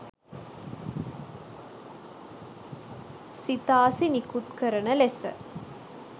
සිතාසි නිකුත් කරන ලෙස